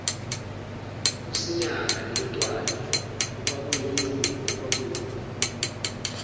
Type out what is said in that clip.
usinyaka netwani okwakuyingqumbi